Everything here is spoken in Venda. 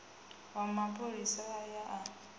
wa mapholisa a ye a